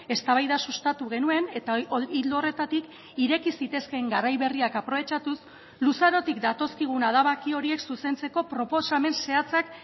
eztabaida sustatu genuen eta ildo horretatik ireki zitezkeen garai berriak aprobetxatuz luzarotik datozkigun adabaki horiek zuzentzeko proposamen zehatzak